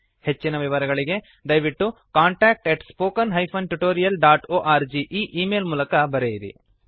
ಹೆಚ್ಚಿನ ವಿವರಗಳಿಗೆ ದಯವಿಟ್ಟು contact at spoken hyphen tutorial dot org ಈ ಈ ಮೇಲ್ ಗೆ ಬರೆಯಿರಿ